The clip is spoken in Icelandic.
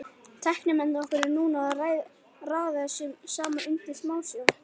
Tæknimennirnir okkar eru núna að raða þessu saman undir smásjá.